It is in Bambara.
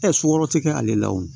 sukɔrɔ tɛ kɛ ale la o